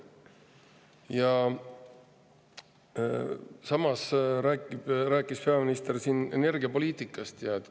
Ja samas rääkis peaminister siin energiapoliitikast.